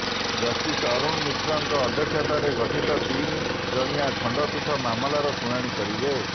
justice Arun ମିଶ୍ରଙ୍କ ଅଧ୍ୟକ୍ଷତାରେ ଗଠିତ ତିନି ଜଣିଆ ଖଣ୍ଡପୀଠ ମାମଲାର ଶୁଣାଣି କରିବେ